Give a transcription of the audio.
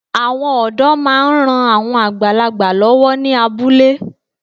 Àwọn ọ̀dọ́ máa ń ran àwọn àgbàlagbà lọ́wọ́ ní abúlé